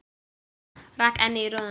Rek ennið í rúðuna.